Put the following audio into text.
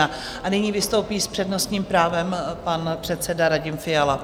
A nyní vystoupí s přednostním právem pan předseda Radim Fiala.